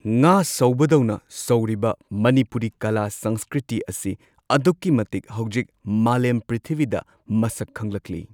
ꯉꯥ ꯁꯧꯕꯗꯧꯅ ꯁꯧꯔꯤꯕ ꯃꯅꯤꯄꯨꯔꯤ ꯀꯂꯥ ꯁꯪꯁꯀ꯭ꯔꯤꯇꯤ ꯑꯁꯤ ꯑꯗꯨꯛꯀꯤ ꯃꯇꯤꯛ ꯍꯧꯖꯤꯛ ꯃꯥꯂꯦꯝ ꯄ꯭ꯔꯤꯊꯤꯕꯤꯗ ꯃꯁꯛ ꯈꯪꯂꯛꯂꯤ꯫